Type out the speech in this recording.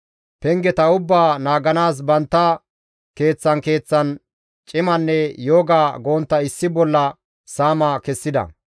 Pengeta ubbaa naaganaas bantta keeththan keeththan cimanne yooga gontta issi bolla saama kessida.